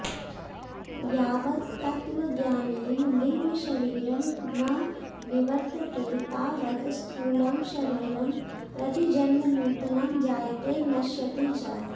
यावत् तत्त्वज्ञानेन लिङ्गशरीरं न निवर्त्तते तावत् स्थूलं शरीरं प्रतिजन्म नूतनं जायते नश्यति च